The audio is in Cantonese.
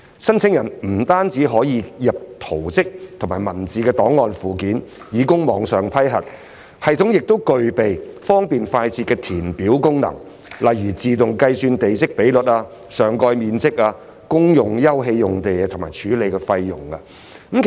申請人不僅可透過系統遞交圖則及文字檔案，以供網上批核，有關系統亦具備方便快捷的計算功能，例如自動計算地積比率、上蓋面積、公用休憩用地及處理費用。